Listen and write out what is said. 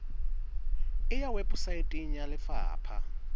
e ya weposaeteng ya lefapha